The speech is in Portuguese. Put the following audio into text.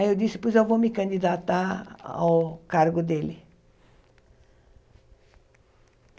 Aí eu disse, pois eu vou me candidatar ao cargo dele.